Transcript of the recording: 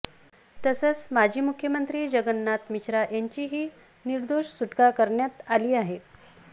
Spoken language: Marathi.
तसंच माजी मुख्यमंत्री जगन्नाथ मिश्रा यांचीही निर्दोष सुटका करण्यात आली आहे